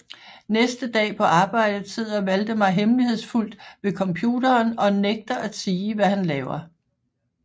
Næste dag på arbejdet sidder Waldemar hemmelighedsfuldt ved computeren og nægter at sige hvad han laver